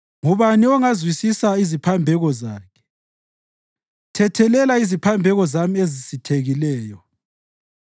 Ngubani ongazizwisisa iziphambeko zakhe? Thethelela iziphambeko zami ezisithekileyo.